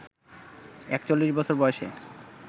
৪১ বছর বয়সে